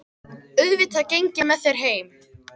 Auðvitað geng ég með þér heim